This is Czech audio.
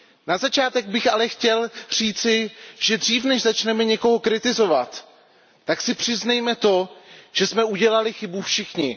Na začátek bych ale chtěl říci, že dřív než začneme někoho kritizovat, tak si přiznejme to, že jsme udělali chybu všichni.